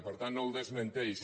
per tant no ho desmenteix